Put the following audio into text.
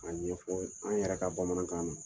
A ɲɛfɔ an yɛrɛ ka bamanankan na.